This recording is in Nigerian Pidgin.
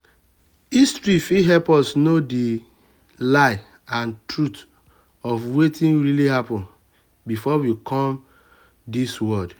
history fit help us know di lie and truth of wetin really happen before we um come di um come di world